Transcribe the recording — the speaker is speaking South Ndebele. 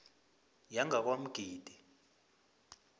yangakwamgidi